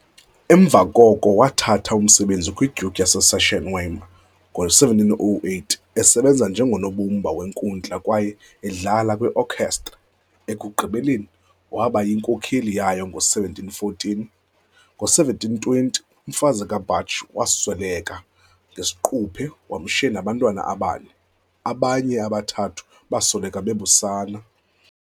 Emva koko wathatha umsebenzi kwi-Duke yase Sachsen-Weimar ngo-1708, esebenza njengonobumba wenkundla kwaye edlala kwi-okhestra, ekugqibeleni waba yinkokheli yayo ngo-1714. Ngo-1720, umfazi kaBach wasweleka ngesiquphe, wamshiya nabantwana abane, abanye abathathu basweleka besebusana.